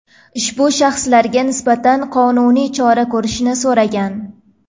ushbu shaxslarga nisbatan qonuniy chora ko‘rishni so‘ragan.